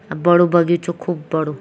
अ बडु बगिचु खूब बडू।